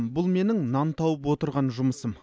бұл менің нан тауып отырған жұмысым